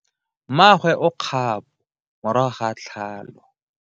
Mmagwe o kgapo morago ga tlhalo.